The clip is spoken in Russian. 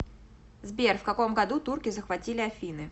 сбер в каком году турки захватили афины